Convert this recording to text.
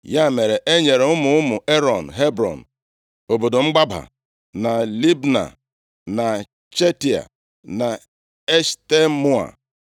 Ya mere e nyere ụmụ ụmụ Erọn Hebrọn (obodo mgbaba), na Libna, na Jatịa, na Eshtemoa,